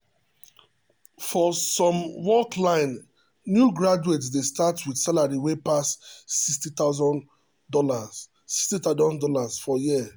for some work line new graduates dey start with salary wey pass $60000 $60000 for year.